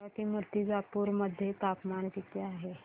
सांगा की मुर्तिजापूर मध्ये तापमान किती आहे